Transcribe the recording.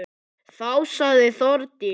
Þá sagði Þórdís: